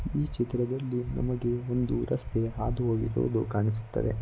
ಈ ಚಿತ್ರದಲ್ಲಿ ನಮಗೆ ಒಂದು ರಸ್ತೆ ಹಾದುಹೋಗಿರುವುದು ಕಾಣಿಸುತ್ತದೆ.